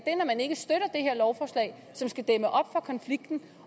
lovforslag som skal dæmme op for konflikten